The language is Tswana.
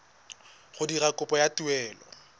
go dira kopo ya taelo